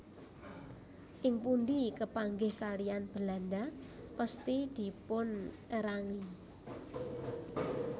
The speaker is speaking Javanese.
Ing pundi kepanggih kaliyan Belanda pesthi dipunerangi